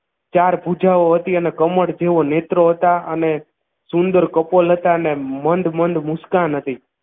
ચાર ભૂજાઓ હતી અને કમળ જેઓ નેત્રો હતા અને સુંદર કપલ હતા અને મંદ મંદ મુસ્કાન હતી